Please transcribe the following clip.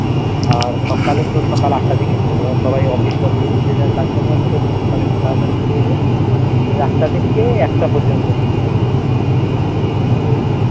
আর সকালে তোর আটটা থেকে শুরু সবাই office তফিস যে যার কাজ কর্ম আছে তো এইজন্য সকালে তাড়াতাড়ি শুরু হয়ে যায় ওই আটটা থেকে একটা পর্যন্ত এটাই আরকি